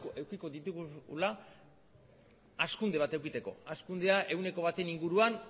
edukiko ditugula hazkunde bat edukitzeko hazkundea ehuneko baten inguruan